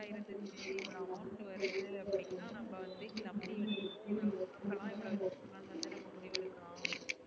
இவ்ளோ amount வருது அப்டினா நம்ம வந்து